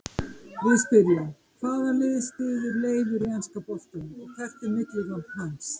Við spyrjum: Hvaða lið styður Leifur í enska boltanum og hvert er millinafn hans?